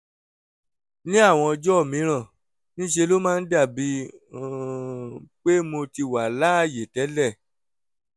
ní àwọn ọjọ́ mìíràn ń ṣe ló máa ń dàbí um pé mo ti wà láàyè tẹ́lẹ̀